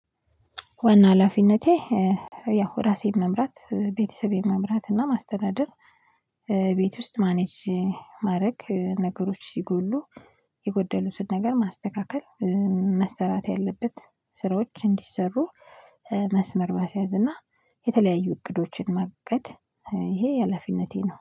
ዋና ሀላፊነቴ ያው ራሴን መምራት፣ ቤተሰቤን መምራት እና ማስተናደር ቤት ውስጥ ማኔጅ ማድረግ፣ ነገሮች ሲጎሉ የጎደሉትን ነገር ማስተካከል መሰራት ያለበት ስራዎች እንዲሰሩ መስመር ማስያዝ እና የተለያዩ እቅዶችን መቅደል ይሄ ሀላፊነቴ ነው።